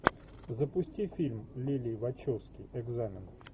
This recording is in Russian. запусти фильм лилли вачовски экзамен